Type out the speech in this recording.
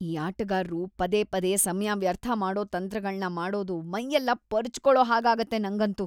ಈ ಆಟಗಾರ್ರು ಪದೇ ಪದೇ ಸಮಯ ವ್ಯರ್ಥ ಮಾಡೋ ತಂತ್ರಗಳ್ನ ಮಾಡೋದು ಮೈಯೆಲ್ಲ ಪರ್ಚ್‌ಕೊಳೋ ಹಾಗಾಗತ್ತೆ ನಂಗಂತೂ.